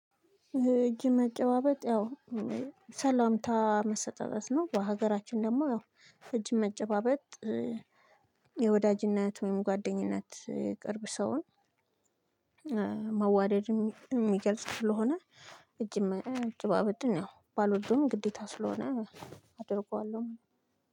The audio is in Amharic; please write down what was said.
እጅ መጨባበጥ ያው እም ሰላምታ መሰጣጠት ነው። በሀገራችን ደግሞ ያው እጅ መጨባበጥ እ የወዳጅነት ወይም ጓደኝነት እ የቅርብ ሰውን እ መዋደድ የሚገልጽ ስለሆነ። እጅም መጨባበጥን ያው ባልወደውም ግዴታ ስለሆነ አደርገዋለሁ።